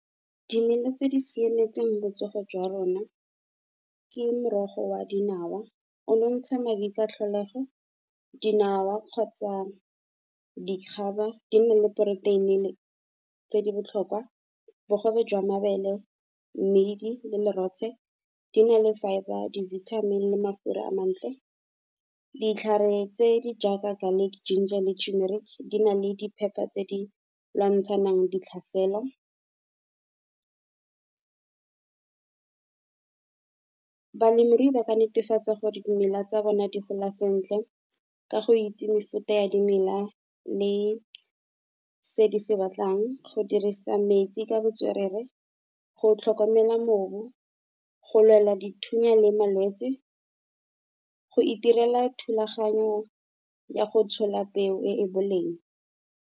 Dimela tse di siametseng botsogo jwa rona ke morogo oa dinawa o nontsha madi ka tlholego. Dinawa kgotsa dikgaba di nne le poroteini le tse di botlhokwa, bogobe jwa mabele mmidi le lerotshe. Di na le fibre di-vitamin le mafura a mantle, ditlhare tse di jaaka garlic, ginger le tumeric di na le di phepa tse di lwantshanang di tlhasela. Balemirui ba ka netefatsa gore dimela tsa bone di gola sentle ka go itse mefuta ya dimela, le se di se batlang. Go dirisa metsi ka botswerere go tlhokomela mobu, go lwela dithunya le malwetsi, go itirela thulaganyo ya go tshola peo e boleng.